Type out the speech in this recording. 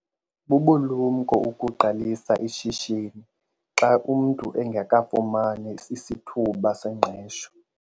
Bubulumko ukuqalisa ishishini xa umntu engakafumani sisithuba sengqesho.